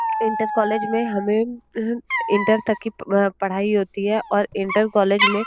inter college में हमे हं इंटर तक की पढ़ाई होती है और इंटरकोलेज में --